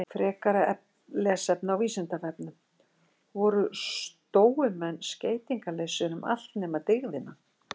Frekara lesefni á Vísindavefnum: Voru stóumenn skeytingarlausir um allt nema dygðina?